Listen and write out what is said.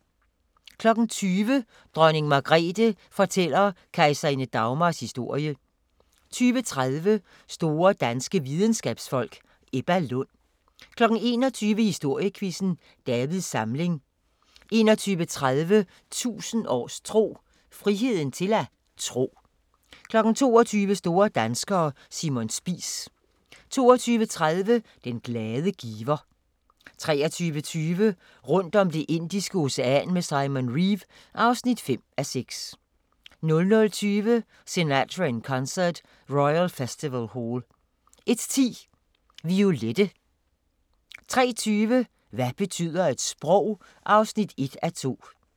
20:00: Dronning Margrethe fortæller kejserinde Dagmars historie 20:30: Store danske videnskabsfolk: Ebba Lund 21:00: Historiequizzen: Davids Samling 21:30: 1000 års tro: Friheden til at tro 22:00: Store danskere – Simon Spies 22:30: Den glade giver 23:20: Rundt om Det indiske Ocean med Simon Reeve (5:6) 00:20: Sinatra in Concert – Royal Festival Hall 01:10: Violette 03:20: Hvad betyder et sprog? (1:2)